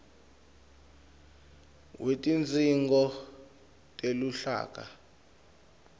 wetidzingo teluhlaka